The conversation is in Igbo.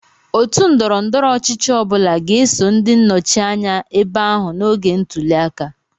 Otu ndọrọ ndọrọ ọchịchị ọ bụla ga-eso ndị nnọchi anya ebe ahụ n'oge ntuli aka.